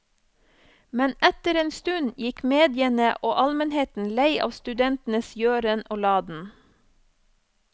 Men etter en stund gikk mediene og almenheten lei av studentenes gjøren og laden.